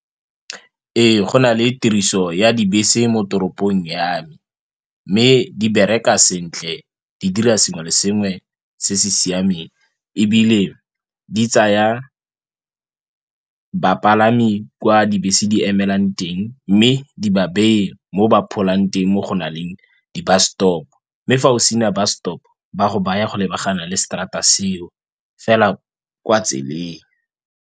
Ee, go na le tiriso ya dibese mo toropong ya me mme di bereka sentle di dira sengwe le sengwe se se siameng ebile di tsaya bapalami kwa dibese di emelwang teng mme di ba beye mo ba pholang teng mo go nang le di-bus stop. Mme fa o sena bus stop ba go baya go lebagana le straat-a seo fela kwa tseleng.